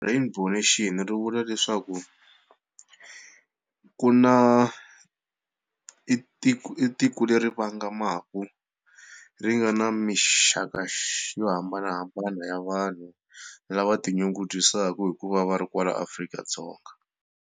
Rainbow nation ri vula leswaku ku na, i i tiko leri vangamaka ri nga na mixaka xa yo hambanahambana ya vanhu lava tinyungubyisaka hikuva va ri kwala Afrika-Dzonga.